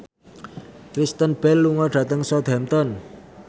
Kristen Bell lunga dhateng Southampton